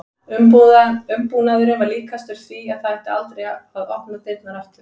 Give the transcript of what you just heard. Umbúnaðurinn var líkastur því að það ætti aldrei að opna dyrnar aftur.